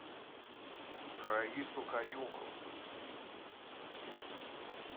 раису каюмову